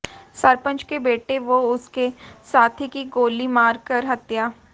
सरपंच के बेटे व उसके साथी की गोली मारकर हत्या